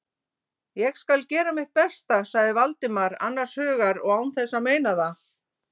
Ég skal gera mitt besta- sagði Valdimar annars hugar og án þess að meina það.